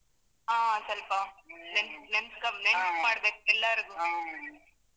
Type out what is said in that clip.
ಹಾ ಸ್ವಲ್ಪ ನೆ~ ನೆನ್ಪ್ ಕಮ್ಮಿ ಮಾಡ್ಬೇಕು ಎಲ್ಲಾರ್ಗು.